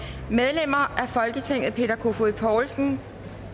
medlemmer af folketinget peter kofod poulsen